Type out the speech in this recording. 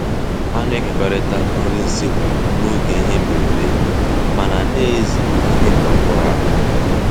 Ha na-ekekọrịta nri nsekwu n'oge ihe mberede mana na-eze ime ka ọ bụrụ àgwà.